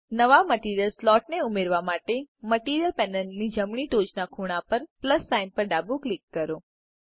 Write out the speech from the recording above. નવા મટીરીયલ સ્લોટને ઉમેરવા માટે મટીરીયલ પેનલની જમણી ટોચના ખૂણા પર પ્લસ સાઇન પર ડાબું ક્લિક કરો